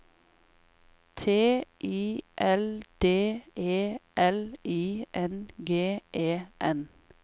T I L D E L I N G E N